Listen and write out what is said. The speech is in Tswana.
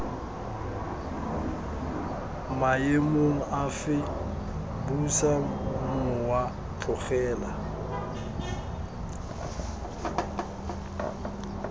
maemong afe busa mowa tlogela